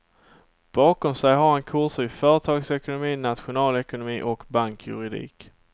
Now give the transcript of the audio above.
Bakom sig har han kurser i företagsekonomi, nationalekonomi och bankjuridik.